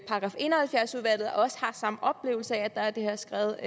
§ en og halvfjerds udvalget også har samme oplevelse af at der er det her skred